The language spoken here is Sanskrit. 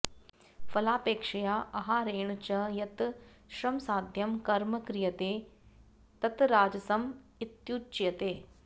फलापेक्षया अहारेण च यत् श्रमसाध्यं कर्म क्रियते तत् राजसम् इत्युच्यते